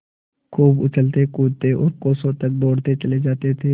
खूब उछलतेकूदते और कोसों तक दौड़ते चले जाते थे